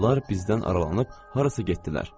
Onlar bizdən aralanıb harasa getdilər.